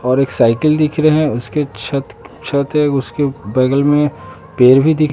और एक साइकिल दिख रहे हैं उसके छत छत एगो उसके बगल में पेड़ भी दिख--